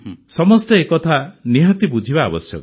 ସମସ୍ତେ ଏକଥା ବୁଝିବା ନିହାତି ଆବଶ୍ୟକ